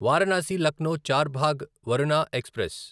Varanasi Lucknow Charbagh Varuna express